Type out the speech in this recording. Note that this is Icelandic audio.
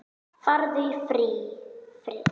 Farðu í friði.